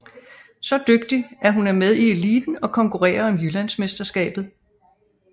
Så dygtig at hun er med i eliten og konkurrerer om Jyllandsmesterskabet